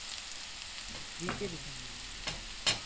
free কে দিছে নেকি